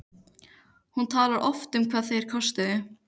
Hún talar oft um hvað þeir kostuðu.